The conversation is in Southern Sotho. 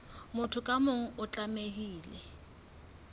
motho ka mong o tlamehile